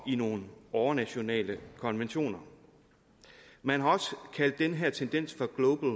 i nogle overnationale konventioner man har også kaldt den her tendens for global